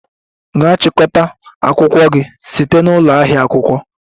Gaa chịkọta akwụkwọ gị site na ụlọ ahịa akwụkwọ!